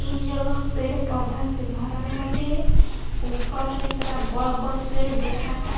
ई जगह पेड़ पौधा से भरल बाटे। ऊपर इकरा बड़ बड़ पेड़ दिखाता।